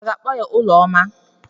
A ga-akpọ ya Ụlọma?